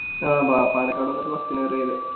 ആ പ പാലക്കാട് വന്നിട്ട് Bus ന് വരുവാ ചെയ്തേ